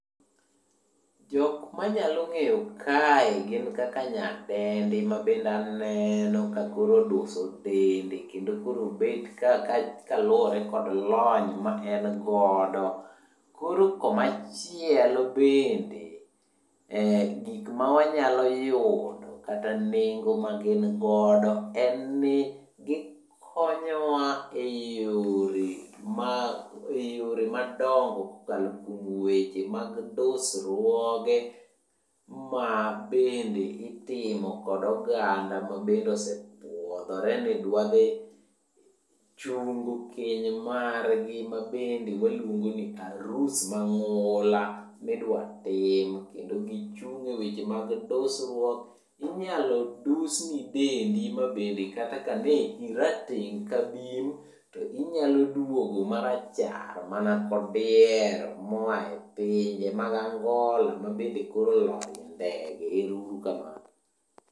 Jokma anyalo ng'eyo kae gin kaka nyadendi mabende aneno ka koro oduso dende kendo koro obet ka kaluwore kod lony ma en godo. Koro komachielo bende, gik ma wanyalo yudo kata nengo magin godo en ni, gikonyowa e yore madongo kuom weche mag dusruoge mabende itimo kod oganda mabende osepuodhore ni dwa dhi chungo keny margi mabende waluongo ni arus mang'ula midwatim kendo gichung' e weche mag dusruok. Inyalo dusni dendi ma bende kata ka ne irateng' ka bim to inyalo duogo marachar mana kodiero moa e pinje mag Angola mabende koro olor e ndege, ero uru kamano.